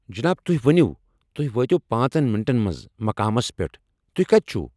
جناب، تۄہہ ووٚنوٕ تہۍ وٲتو پانٛژن منٛٹن منٛز مقامس پٮ۪ٹھ۔ تُہۍ کتہ چھوٕ؟